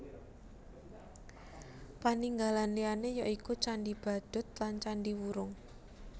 Paninggalan liyané ya iku Candhi Badut lan Candhi Wurung